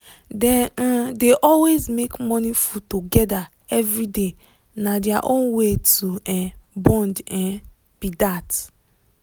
dem um dey always make morning food together every day na their own way to um bond um be that.